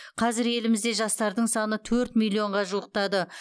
қазір елімізде жастардың саны төрт миллионға жуықтады